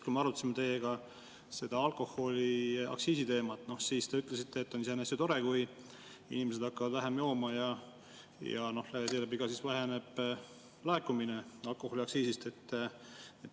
Kui me arutasime teiega alkoholiaktsiisi teemat, siis te ütlesite, et on iseenesest tore, kui inimesed hakkavad vähem jooma, kuigi seeläbi väheneb ka laekumine alkoholiaktsiisist.